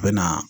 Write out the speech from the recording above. A bɛ na